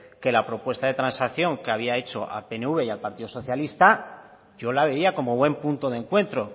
que la propuesta de transacción que había hecho al pnv y al partido socialista yo la veía como buen punto de encuentro